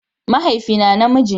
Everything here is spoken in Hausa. Mahaifina namiji ne shi.